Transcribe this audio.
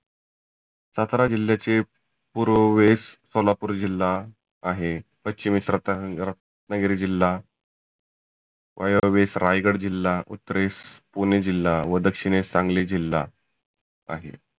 सातारा जिल्ह्याचे पुर्वेस सोलापुर जिल्हा आहे. पश्चिमेस रत्ना रत्नागिरी जिल्हा वायव्येस रायगड जिल्हा, उत्तरेस पुणे जिल्हा, व दक्षिनेस सांगली जिल्हा आहे.